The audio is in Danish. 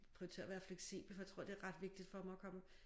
Prioritere at være fleksibel for jeg tror det er ret vigtigt for mig at komme